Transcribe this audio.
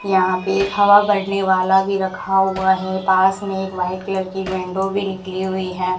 यहां पे एक हवा भरने वाला भी रखा हुआ है पास मे एक व्हाइट कलर की वेंटो भी निकली हुई है।